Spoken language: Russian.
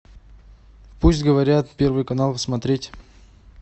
пусть говорят первый канал смотреть